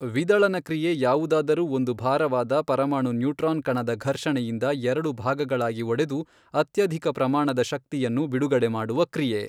ವಿದಳನ ಕ್ರಿಯೆ ಯಾವುದಾದರೂ ಒಂದು ಭಾರವಾದ ಪರಮಾಣು ನ್ಯೂಟ್ರಾನ್ ಕಣದ ಘಷ೯ಣೆಯಿಂದ ಎರಡು ಭಾಗಗಳಾಗಿ ಒಡೆದು ಅತ್ಯಧಿಕ ಪ್ರಮಾಣದ ಶಕ್ತಿಯನ್ನು ಬಿಡುಗಡೆ ಮಾಡುವ ಕ್ರಿಯೆ.